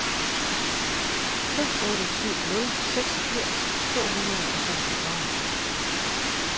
fem otte syv nul seksogfirs to hundrede og seksogfyrre